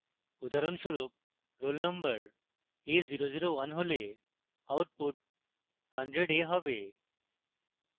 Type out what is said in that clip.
উদাহরণস্বরূপ roll number a001 হলে output 100a হবে